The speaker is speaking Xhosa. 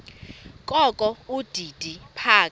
kokho udidi phaka